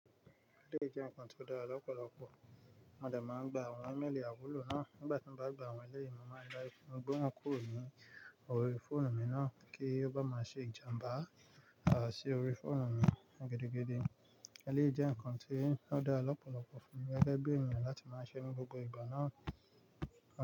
Elẹ́ jẹ́ nǹkan tó dára lọ́pọ̀lọpọ̀, mo dà máa ń gba àwọn email àwùlò náà. Nígbà tí mo bá gba àwọn ẹlẹ́yìn, mo máa ń dá ẹkún gbó wọn kúrò ní orí fóònù mi náà kí ó bá máa ṣe ìjàmbá àṣẹ orí fóònù mi gidigidi. Elẹ́ jẹ́ nǹkan tí ó dára lọ́pọ̀lọpọ̀ fún mi gẹ́gẹ́ bí èèyàn láti máa ṣe ní gbogbo ìgbà náà.